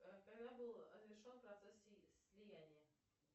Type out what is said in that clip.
а когда был завершен процесс слияния